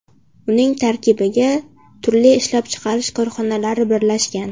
Uning tarkibiga turli ishlab chiqarish korxonalari birlashgan.